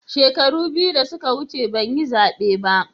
Shekaru biyu da suka wuce ban yi zabe ba.